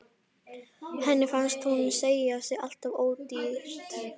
Henni finnst hún selja sig alltof ódýrt.